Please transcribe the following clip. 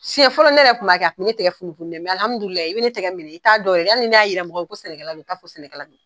Siɲɛ fɔlɔ, ne yɛrɛ tun b'a kɛ, a tun bɛ ne tɛgɛ funufunun , mɛ alhamidulilahi, i bɛ ne tigɛ minɛ i t'a dɔn yɛrɛ, hali ni ne jira mɔgɔw la ko sɛnɛkɛla don , u t'a fɔ sɛnɛkɛla don.